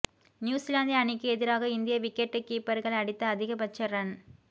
New Zealand அணிக்கு எதிராக இந்திய விக்கெட் கீப்பர்கள் அடித்த அதிகபட்ச ரன்